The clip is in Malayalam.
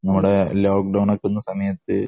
നമ്മുടെ ലോക്ക് ഡൌണ്‍ നടക്കുന്ന സമയത്ത്